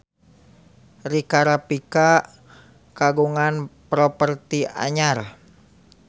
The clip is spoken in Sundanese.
Rika Rafika kagungan properti anyar